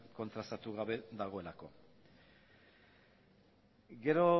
kontrastatu gabe dagoelako gero